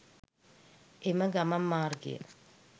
එම ගමන් මාර්ගය